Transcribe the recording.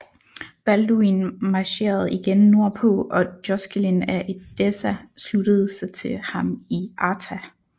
Balduin marcherede igen nordpå og Joscelin af Edessa sluttede sig til ham i Artah